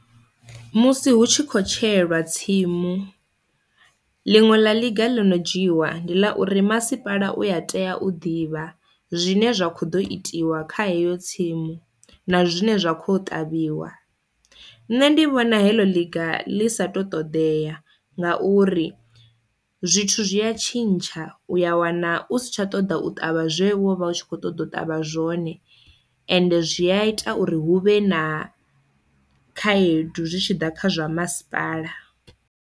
Musi hu tshi kho tsheelwa tsimu ḽiṅwe ḽa ḽiga ḽi no dzhiiwa ndi ḽa uri masipala u a tea u ḓivha zwine zwa kho ḓo itiwa kha heyo tsimu na zwine zwa kho ṱavhiwa, nṋe ndi vhona heḽo ḽiga ḽi sa to ṱoḓea ngauri zwithu zwi ya tshintsha uya wana u si tsha ṱoḓa u ṱavha zwe wo vha u tshi kho ṱoḓa u ṱavha zwone ende zwi a ita uri hu vhe na khaedu zwi tshi ḓa kha zwa masipala.